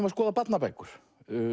að skoða barnabækur